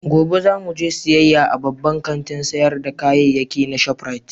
Gobe za mu je siyayya a babban kantin sayar da kayayyaki na Shop Rite